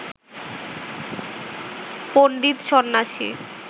পণ্ডিত সন্ন্যাসী